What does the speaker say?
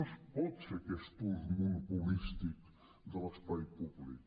no es pot fer aquest ús monopolístic de l’espai públic